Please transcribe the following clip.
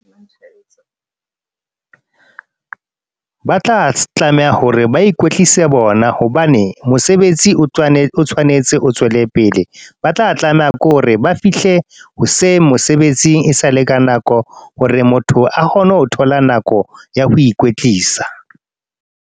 Ba tla tlameha hore ba ikwetlise bona. Hobane, mosebetsi o tshwanetse o tswele pele. Ba tla tlameha ke hore ba fihle hoseng mosebetsing, e sale ka nako. Hore motho a kgone ho thola nako ya ho ikwetlisa